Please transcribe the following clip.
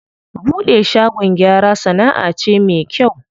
Buɗe shagon gyara sanaʼa ce me kyau sosai.